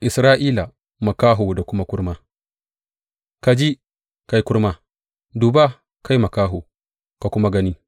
Isra’ila makaho da kuma kurma Ka ji, kai kurma; duba, kai makaho, ka kuma gani!